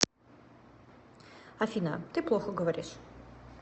афина ты плохо говоришь